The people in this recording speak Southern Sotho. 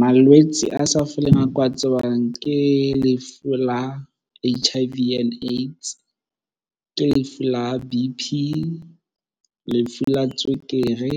Malwetse a sa foleng ao ke wa tsebang ke lefu la H_I_V and AIDS, ke lefu la B_P, lefu la tswekere